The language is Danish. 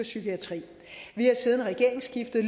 psykiatrien vi har siden regeringsskiftet